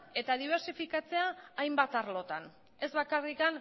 eta dibersifikatzea hainbat arlotan ez bakarrik